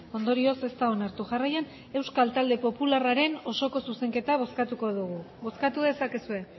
ondorioz ez da onartu jarraian euskal talde popularraren osoko zuzenketa bozkatuko dugu bozkatu dezakezue